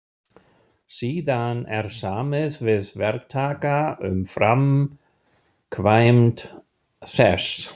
Síðan er samið við verktaka um framkvæmd þess.